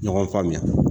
Ɲɔgɔn faamuya